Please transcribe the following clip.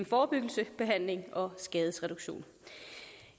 forebyggelse behandling og skadesreduktion